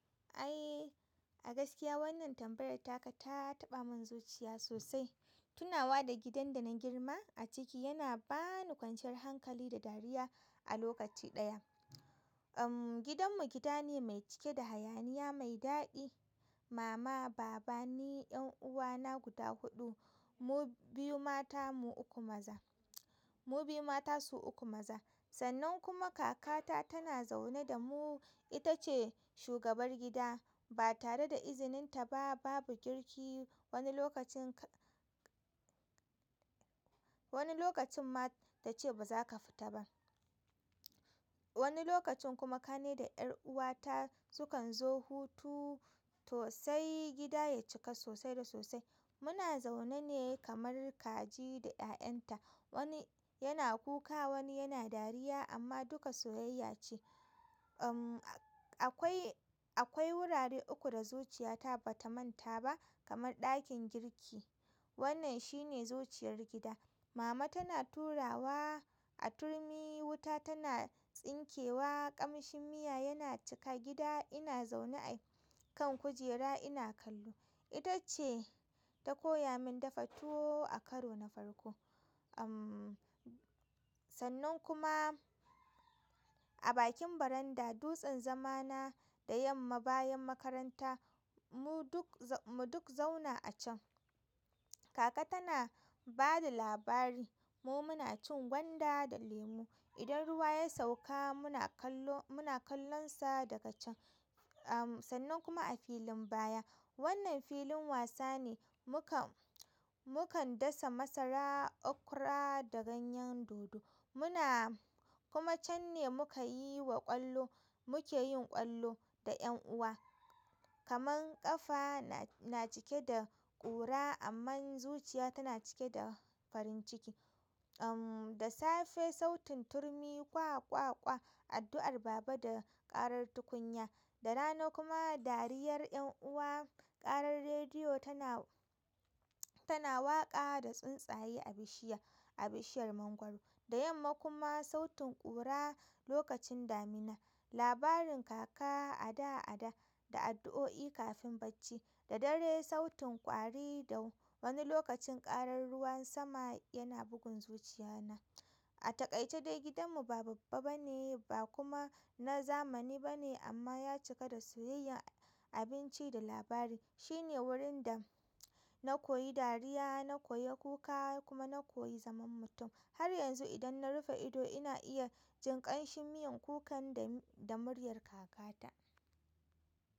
Eh, a gaskiya wannan tambayar taka ta taɓa min zuciya sosai. Tunawa da gidan da na girma a ciki yana ba ni kwanciyar hankali da dariya a lokaci ɗaya umm. Gidanmu gida ne mai cike da hayaniya mai daɗi. Mama, baba, ni, 'yan'uwana guda huɗu, mu biyu mata, mu uku maza, mu biyu mata su uku maza. Sannan kuma kakata tana zaune da mu, ita ce shugabar gida. Ba tare da izininta ba babu girki wani lokacin ka wani lokacin ma ta ce ba za ka fita ba. Wani lokacin kuma kane da 'yar uwata sukan zo hutu to sai gida ya cika sosai da sosai. Muna zaune ne kamar kaji da ya'yanta, wani yana kuka wani yana dariya, amma duka soyayya ce umm. Akwai wurare uku da zuciyata ba ta manta ba kamar ɗakin girki. Wannan shi ne zuciyar gida. Mama tana turawa, a turmi, wuta tana tsinkewa, ƙamshin miya yana cika gida ina zaune a kan kujera ina kallo. Ita ce ta koya min dafa tuwo a karo na farko umm. Sannan kuma a bakin baranda dutsen zamana da yamma bayan makaranta mu duk mu duk zauna a can. Kaka tana ba da labari mu muna cin gwanda da lemu. Idan ruwa ya sauka muna kallo, muna kallonsa daga can, um, sannan kuma a filin baya wannan filin wasa ne, mukan. Mukan dasa masara, okura da ganyen dodo. Muna kuma can ne muka yi wa ƙwallo. Muke yin ƙwallo da 'yan uwa. Kaman ƙafa na cike da ƙura amma zuciya tana cike da farin ciki. Da safe sautin turmi kwa kwa kwa, addu'ar baba da ƙarar tukunya, da rana kuma dariyar 'yan uwa, ƙarar rediyo tana tana waƙa da tsuntsaye a bishiya a bishiyar mangwaro, da yamma kuma sautin ƙura lokacin damina, labarin kaka ada ada, da addu'o'i kafin bacci, da dare sautin ƙwari da wani lokacin ƙarar ruwan sama yana bugun zuciya na. A taƙaice dai gidanmu ba babba ba ne ba kuma na zamani ba ne amma ya cika da soyayyar abinci da labari. Shi ne wurin da na koyi dariya, na koyi kuka kuma na koyi zaman mutum. Har yanzu idan na rufe ido ina iya jin ƙamshin miyan kukan da, da muryar kakata.